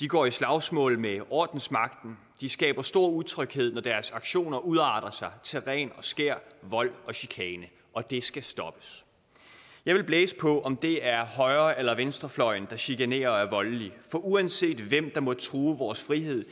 de går i slagsmål med ordensmagten de skaber stor utryghed når deres aktioner udarter sig til ren og skær vold og chikane det skal stoppes jeg vil blæse på om det er højre eller venstrefløjen der chikanerer og er voldelige for uanset hvem der måtte true vores frihed